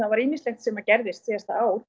var ýmislegt sem gerðist síðasta ár